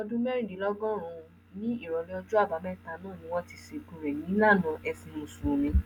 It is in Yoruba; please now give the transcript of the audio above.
ẹni ọdún mẹrìndínlọgọrùnún ní ìrọlẹ ọjọ àbámẹta náà ni wọn ti sìnkú rẹ nílànà ẹsìn mùsùlùmí